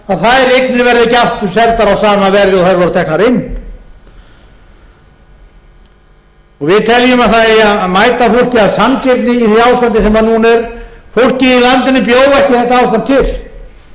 eignir verða ekki aftur seldar á sama verði og þær voru teknar inn við teljum að það eigi að mæta fólki af sanngirni í því ástandi sem núna er fólkið í landinu bjó ekki þetta ástand til það var vissulega